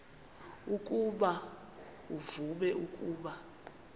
ukuba uvume ukuba